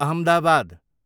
Ahmedabad